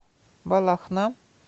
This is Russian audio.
балахна